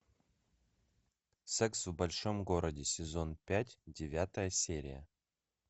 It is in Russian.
секс в большом городе сезон пять девятая серия